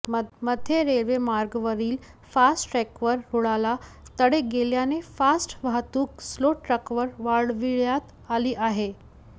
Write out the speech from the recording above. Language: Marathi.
मध्य रेल्वे मार्गावरील फास्ट ट्रकवर रुळाला तडे गेल्याने फास्ट वाहतूक स्लो ट्रकवर वळविण्यात आली आहे